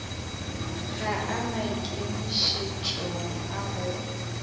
ga a maikemišetšong a go